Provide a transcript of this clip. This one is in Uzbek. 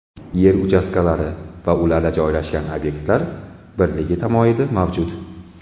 Yer uchastkalari va ularda joylashgan obyektlar birligi tamoyili mavjud.